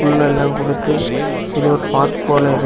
புல் எல்லா கொடுத்து இது ஒரு பார்க் போல இருக்கு.